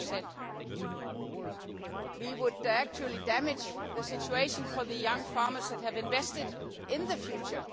5? We would actually damage the situation for the young farmers that have invested in the future.